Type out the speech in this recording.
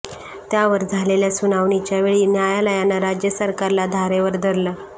त्यावर झालेल्या सुनावणीच्या वेळी न्यायालयानं राज्य सरकारला धारेवर धरलं